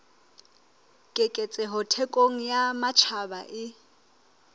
keketseho thekong ya matjhaba e